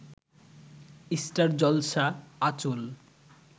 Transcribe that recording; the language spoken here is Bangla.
স্টার জলসা আঁচল